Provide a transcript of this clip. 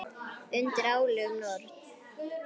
Undir álögum Norn!